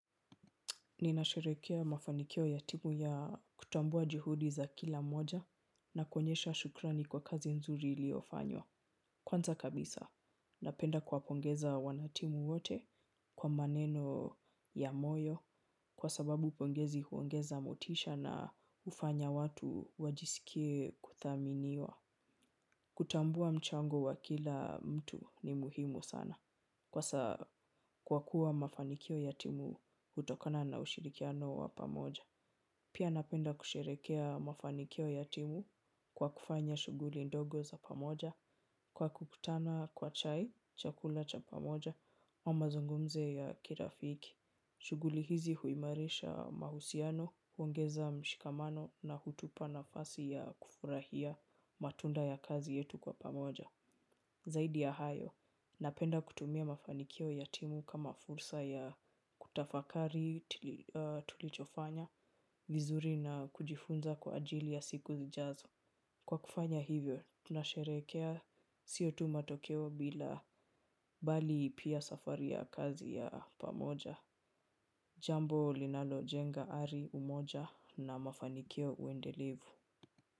Nina sherekea mafanikio ya timu ya kutambua jihudi za kila mmoja na kuonyesha shukrani kwa kazi nzuri iliyofanywa. Kwanza kabisa, napenda kuwa pongeza wanatimu wote kwa maneno ya moyo kwa sababu pongezi huongeza motisha na hufanya watu wajisikie kuthaminiwa. Kutambua mchango wa kila mtu ni muhimu sana kwa kuwa mafanikio ya timu hutokana na ushirikiano wa pamoja. Pia napenda kusherekea mafanikio ya timu kwa kufanya shughuli ndogo za pamoja kwa kukutana kwa chai, chakula cha pamoja au mazungumzo ya kirafiki. Shuguli hizi huimarisha mahusiano, huongeza mshikamano na hutupa nafasi ya kufurahia matunda ya kazi yetu kwa pamoja. Zaidi ya hayo, napenda kutumia mafanikio ya timu kama fursa ya kutafakari tulichofanya, vizuri na kujifunza kwa ajili ya siku zijazo. Kwa kufanya hivyo, tunasherehekea sio tu matokeo bali pia safari ya kazi ya pamoja. Jambo linalo jenga ari, umoja na mafanikio uendelevu.